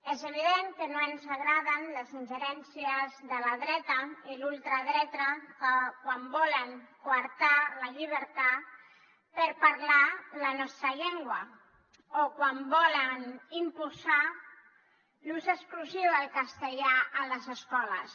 és evident que no ens agraden les ingerències de la dreta i la ultradreta quan volen coartar la llibertat per parlar la nostra llengua o quan volen imposar l’ús exclusiu del castellà a les escoles